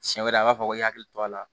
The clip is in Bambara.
Siɲɛ wɛrɛ a b'a fɔ k'i hakili to a la